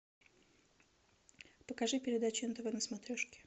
покажи передачу нтв на смотрешке